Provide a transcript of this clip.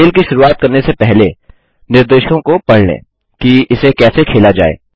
खेल की शुरुवात करने से पहले निर्देशों को पढ़ लें कि इसे कैसे खेला जाए